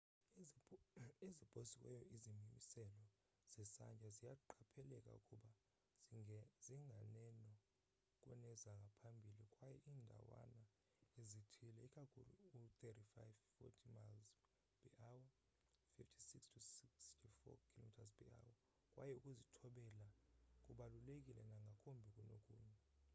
eziposiweyo izimiselo zesantya ziyaqapheleka ukuba zingeneno kunezangaphambili kwaye iindawana ezithile— ikakhulu u-35-40 mph 56-64 km/h — kwaye ukuzithobela kubaluleke nangakumbi kunokunye